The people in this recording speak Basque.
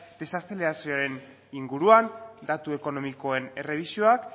desazelerazioaren inguruan datu ekonomikoen errebisioak